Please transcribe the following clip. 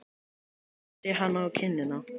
Kyssi hana á kinnina.